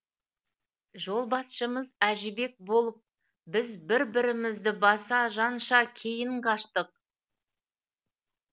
жолбасшымыз әжібек болып біз бір бірімізді баса жанша кейін қаштық